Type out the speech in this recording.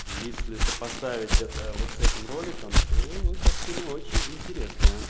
если сопоставить это вот с этим роликом то картина очень интересная